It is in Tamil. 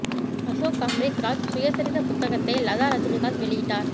அசோக் அம்ரித் ராஜ் சுயசரிதை புத்தகத்தை லதா ரஜினிகாந்த் வெளியிட்டார்